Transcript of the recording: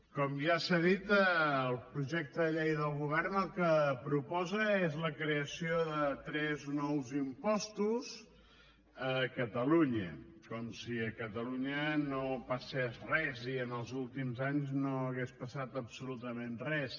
com ja s’ha dit el projecte de llei del govern el que proposa és la creació de tres nous impostos a catalunya com si a catalunya no passés res i en els últims anys no hagués passat absolutament res